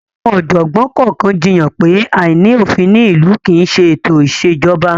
Àwọn ọ̀jọ̀gbọ́n kọ̀ọ̀kan jiyàn pé, àìní òfin ní ìlú kì í ṣe ètò ìṣèjọba.